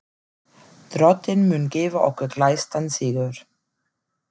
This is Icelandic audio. Drottinn mun gefa okkur glæstan sigur.